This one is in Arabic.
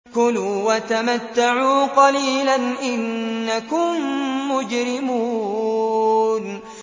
كُلُوا وَتَمَتَّعُوا قَلِيلًا إِنَّكُم مُّجْرِمُونَ